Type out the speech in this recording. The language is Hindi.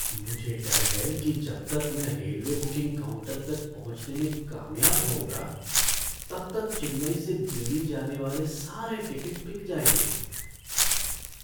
मुझे डर है कि जब तक मैं रेलवे बुकिंग काउंटर तक पहुँचने में कामयाब होऊँगा तब तक चेन्नई से दिल्ली जाने वाले सारे टिकट बिक जाएंगे।